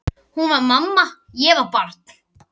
Hún var mamma, ég var barn.